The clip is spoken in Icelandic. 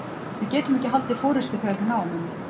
Við getum ekki haldið forystu þegar við náum henni.